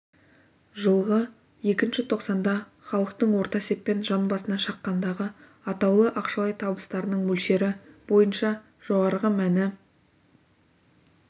жылғы іі тоқсанда халықтың орта есеппен жан басына шаққандағы атаулы ақшалай табыстарының мөлшері бойынша жоғарғы мәні